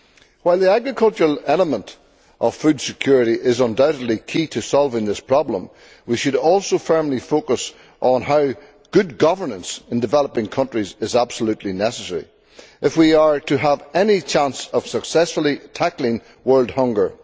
While the agricultural element of food security is undoubtedly key to solving this problem, we should also firmly focus on how good governance in developing countries is absolutely necessary if we are to have any chance of successfully tackling world hunger.